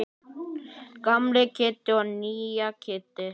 Gamla Kidda og nýja Kidda.